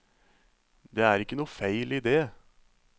Det er ikke noe feil i det.